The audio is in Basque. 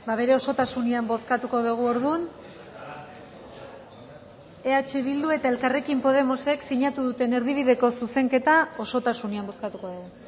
bere osotasunean bozkatuko dugu orduan eh bildu eta elkarrekin podemosek sinatu duten erdibideko zuzenketa osotasunean bozkatuko dugu